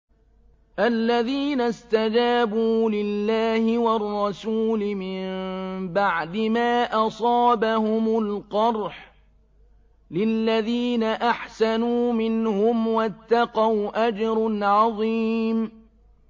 الَّذِينَ اسْتَجَابُوا لِلَّهِ وَالرَّسُولِ مِن بَعْدِ مَا أَصَابَهُمُ الْقَرْحُ ۚ لِلَّذِينَ أَحْسَنُوا مِنْهُمْ وَاتَّقَوْا أَجْرٌ عَظِيمٌ